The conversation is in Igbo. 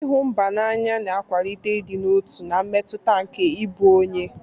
Ịhụ mba n'anya na-akwalite ịdị n'otu na mmetụta nke ịbụ onye.